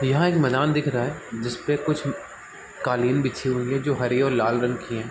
यहाँ एक मैदान दिख रहा है जिसपे कुछ कालीन बिछी हुई है जो हरी और लाल रंग की है।